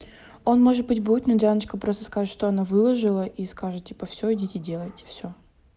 он может быть будет но дианочка просто скажет что она выложила и скажет типа всё идите делайте всё